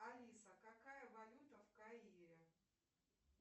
алиса какая валюта в каире